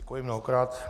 Děkuji mnohokrát.